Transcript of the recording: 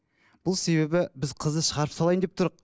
бұл себебі біз қызды шығарып салайын деп